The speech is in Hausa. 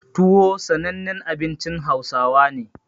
Tuwo sanannen abincin Hausawa ne.